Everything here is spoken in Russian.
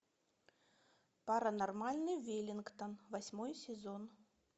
паранормальный веллингтон восьмой сезон